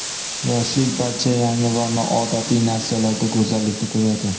Yoshlik barcha yangi va noodatiy narsalarda go‘zallikni ko‘radi.